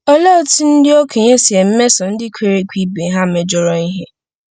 Olee otú ndị okenye si emeso ndị kwere ekwe ibe ha mejọrọ ihe?